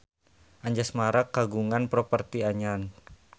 Anjasmara kagungan properti anyar